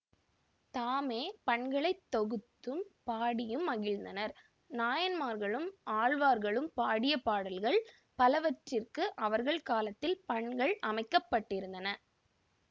தாமே பண்களைத் தொகுத்தும் பாடியும் மகிழ்ந்தனர் நாயன்மார்களும் ஆழ்வார்களும் பாடிய பாடல்கள் பலவற்றிற்கு அவர்கள் காலத்தில் பண்கள் அமைக்கப்பட்டிருந்ததன